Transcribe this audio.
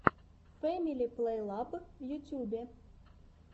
фэмили плейлаб в ютьюбе